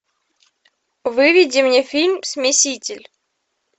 выведи мне фильм смеситель